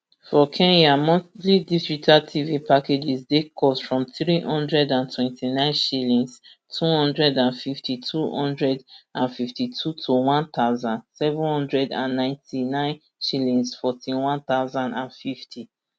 for kenya monthly digital tv packages dey cost from three hundred and twenty-nine shillings two hundred and fifty two hundred and fifty two to one thousand, seven hundred and ninety-nine shillings fourteen one thousand and fifty